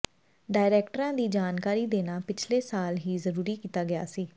ਡਾਇਰੈਕਟਰਾਂ ਦੀ ਜਾਣਕਾਰੀ ਦੇਣਾ ਪਿਛਲੇ ਸਾਲ ਹੀ ਜ਼ਰੂਰੀ ਕੀਤਾ ਗਿਆ ਸੀ